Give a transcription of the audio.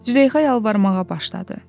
Züleyxa yalvarmağa başladı.